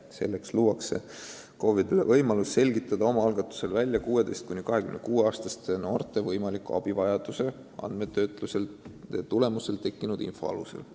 Selleks luuakse KOV-idele meede, mis annab neile võimaluse selgitada oma algatusel välja 16–26-aastaste noorte võimaliku abivajaduse andmetöötluse tulemusel tekkinud info alusel.